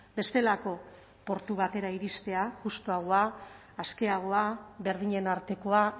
bestelako portu batera iristea justuagoa askeagoa berdinen artekoa